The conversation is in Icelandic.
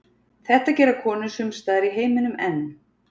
Þetta gera konur sumstaðar í heiminum enn.